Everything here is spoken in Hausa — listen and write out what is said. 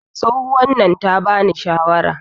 tsohuwan nan ta bani shawara